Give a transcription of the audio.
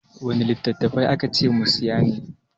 Wanne littattafai aka ce mu saya ne?